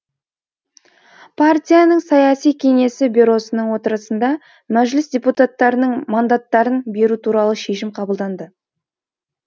партияның саяси кеңесі бюросының отырысында мәжіліс депутаттарының мандаттарын беру туралы шешім қабылданды